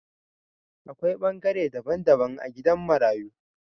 A Kwai bangare dabban dabban a gidan marayu.